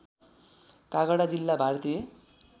काँगडा जिल्ला भारतीय